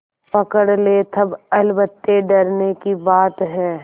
पकड़ ले तब अलबत्ते डरने की बात है